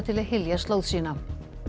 til að hylja slóð sína